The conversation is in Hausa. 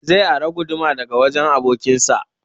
Zai ara guduma daga wajen abokin sa